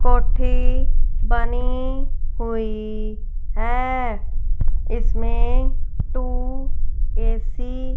कोठी बनी हुईं हैं इसमें टू ए_सी --